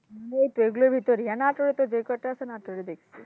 এইতো এইগুলোই তো এইগুলোর ভেতোরেই আর নাটরে যে কটা আছে নাটরের ভেতোরেই